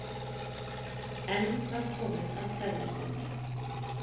Enn var komið að kveðjustund.